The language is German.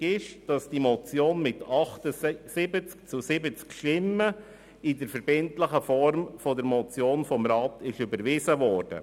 Richtig ist, dass die Motion mit 78 zu 70 Stimmen in der verbindlichen Form der Motion vom Grossen Rat überwiesen wurde.